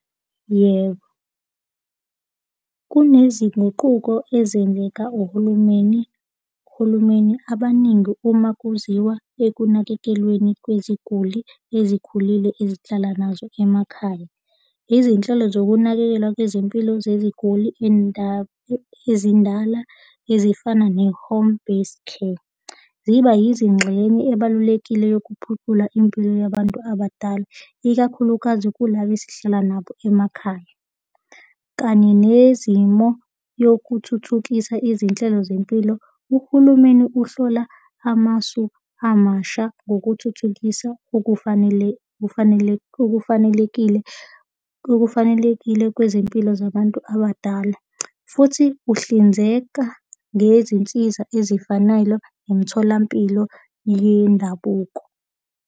Yebo, kunezinguquko ezenzeka uhulumeni, uhulumeni abaningi uma kuziwa ekunakekelweni kweziguli ezikhulile ezihlala nazo emakhaya. Izinhlelo zokunakekelwa kwezempilo zeziguli ezindala ezifana ne-home based care, ziba yizingxenye ebalulekile yokuphucula impilo yabantu abadala, ikakhulukazi kulaba esihlala nabo emakhaya kanye nezimo yokuthuthukisa izinhlelo zempilo. Uhulumeni uhlola amasu amasha ngokuthuthukisa okufanele, kufanele, okufanelekile, okufanelekile kwezimpilo zabantu abadala futhi uhlinzeka ngezinsiza ezifanele nemitholampilo yendabuko.